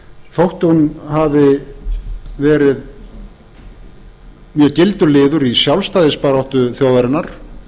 þótt hún hafi verið mjög gildur liður í sjálfstæðisbaráttu þjóðarinnar